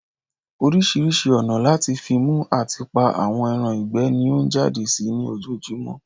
Orísirísi ònà lati fi mú ati pa àwọn ẹran ìgbẹ́ ni ọ n jáde sí ní ojojúmọ́